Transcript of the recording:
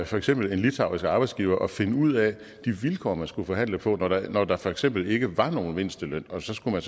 for eksempel en litauisk arbejdsgiver at finde ud af de vilkår man skulle forhandle på når der når der for eksempel ikke var nogen mindsteløn og så skulle man